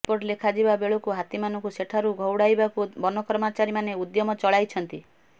report ଲେଖାଯିବା ବେଳକୁ ହାତୀମାନଙ୍କୁ ସେଠାରୁ ଘଉଡାଇବାକୁ ବନକର୍ମଚାରୀମାନେ ଉଦ୍ୟମ ଚଳାଇଛନ୍ତି